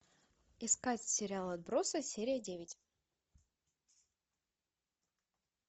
искать сериал отбросы серия девять